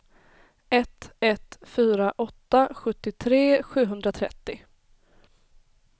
ett ett fyra åtta sjuttiotre sjuhundratrettio